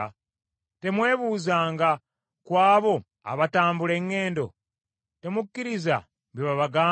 Temwebuuzanga ku abo abatambula eŋŋendo? Temukkiriza bye babagamba,